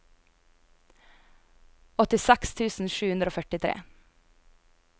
åttiseks tusen sju hundre og førtitre